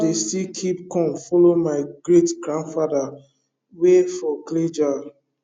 dey still keep corn follow my great grandfather way for clay jars